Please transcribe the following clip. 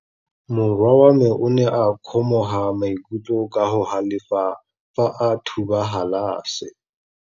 Morwa wa me o ne a kgomoga maikutlo ka go galefa fa a thuba galase.